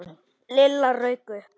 Lilla rauk upp.